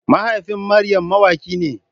Mahaifin Maryam mawaki ne.